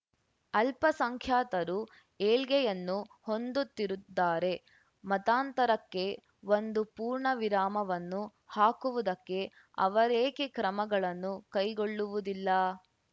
ಅಲ್ಪಸಂಖ್ಯಾತರು ಏಳ್ಗೆಯನ್ನು ಹೊಂದುತ್ತಿದ್ದಾರೆ ಮತಾಂತರಕ್ಕೆ ಒಂದು ಪೂರ್ಣವಿರಾಮವನ್ನು ಹಾಕುವುದಕ್ಕೆ ಅವರೇಕೆ ಕ್ರಮಗಳನ್ನು ಕೈಗೊಳ್ಳುವುದಿಲ್ಲಾ